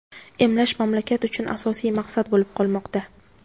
emlash mamlakat uchun asosiy maqsad bo‘lib qolmoqda.